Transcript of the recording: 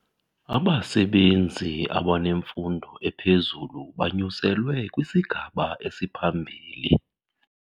Abasebenzi abanemfundo ephezulu banyuselwe kwisigaba esiphambili.